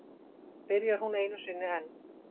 Byrjar hún einu sinni enn.